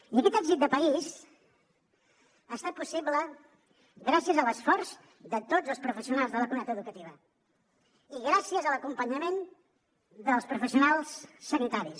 i aquest èxit de país ha estat possible gràcies a l’esforç de tots els professionals de la comunitat educativa i gràcies a l’acompanyament dels professionals sanitaris